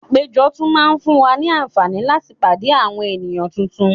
Àpéjọ tún máa ń fún wa ní àǹfààní láti pàdé àwọn ènìyàn tuntun